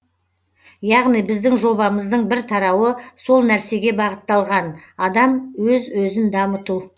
яғни біздің жобамыздың бір тарауы сол нәрсеге бағытталған адам өз өзін дамыту